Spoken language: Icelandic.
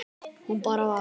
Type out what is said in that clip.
Hún bara var.